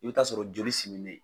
I bɛ taa sɔrɔ joli siminen.